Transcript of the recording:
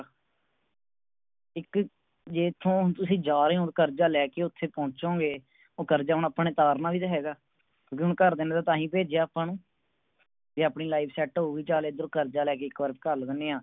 ਇਕ ਜੇ ਇਥੋਂ ਹੁਣ ਤੁਸੀਂ ਜਾ ਰਹੇ ਹੋ ਹੁਣ ਕਰਜਾ ਲੈ ਕੇ ਓਥੇ ਪਹੁੰਚੋਗੇ ਓ ਕਰਜਾ ਹੁਣ ਅੱਪਾ ਨੇ ਉਤਾਰਨਾ ਵੀ ਤਾ ਹੇਗਾ ਕਿਉਕਿ ਹੁਣ ਘਰਦਿਆਂ ਨੇ ਤਾ ਹੀ ਭੇਜਿਆ ਅੱਪਾ ਨੂੰ ਜੇ ਆਪਣੀ Life set ਹੋਊਗੀ ਚਲ ਐਰੋ ਕਰਜਾ ਲੈ ਕੇ ਇਕ ਬਾਰ ਘੱਲ ਦਿੰਨੇ ਆ